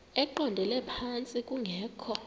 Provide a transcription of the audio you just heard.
eqondele phantsi kungekho